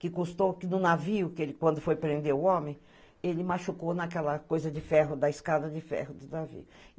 Que custou... No navio, quando foi prender o homem, ele machucou naquela coisa de ferro, da escada de ferro do navio.